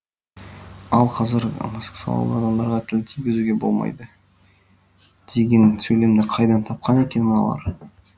ал қазір гомосексуалды адамдарға тіл тигізуге болмайды деген сөйлемді қайдан тапқан екен мыналар